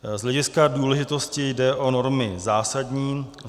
Z hlediska důležitosti jde o normy zásadní.